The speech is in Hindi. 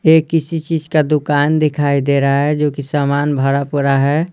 ये किसी चीज का दुकान दिखाई दे रहा है जो कि सामान भरा पड़ा है।